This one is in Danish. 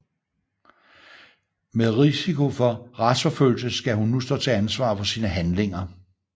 Med risiko for retsforfølgelse skal hun nu stå til ansvar for sine handlinger